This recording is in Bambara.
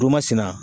sin na